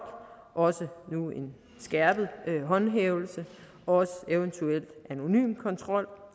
også nu en skærpet håndhævelse også eventuelt anonym kontrol